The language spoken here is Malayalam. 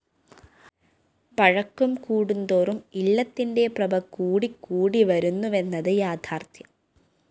പഴക്കം കൂടുംതോറും ഇല്ലത്തിന്റെ പ്രഭ കൂടിക്കൂടി വരുന്നുവെന്നത് യാഥാര്‍ത്ഥ്യം